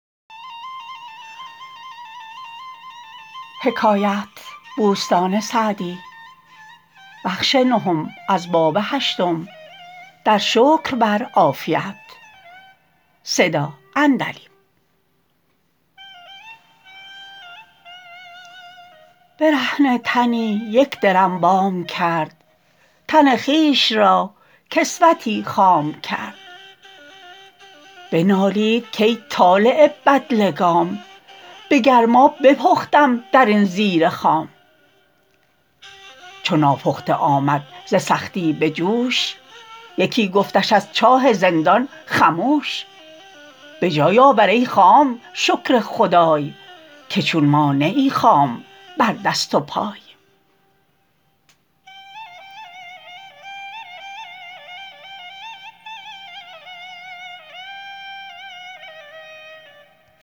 برهنه تنی یک درم وام کرد تن خویش را کسوتی خام کرد بنالید کای طالع بدلگام به گرما بپختم در این زیر خام چو ناپخته آمد ز سختی به جوش یکی گفتش از چاه زندان خموش به جای آور ای خام شکر خدای که چون ما نه ای خام بر دست و پای